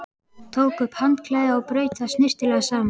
Tók upp handklæðið og braut það snyrtilega saman.